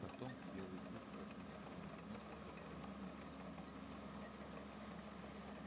потом белый клык коснулся пламени носом и одновременно высунул язык